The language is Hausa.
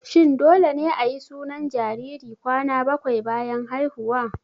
Shin dole ne ayi sunan jariri kwana bakwai bayan haihuwa?